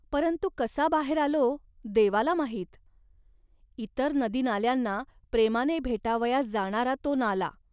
परंतु कसा बाहेर आलो, देवाला माहीत. इतर नदीनाल्यांना प्रेमाने भेटावयास जाणारा तो नाला